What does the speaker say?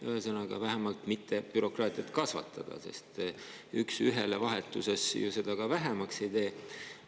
Ühesõnaga, vähemalt mitte bürokraatiat kasvatada, sest ühte teise vastu vahetades seda ju ka ei vähenda.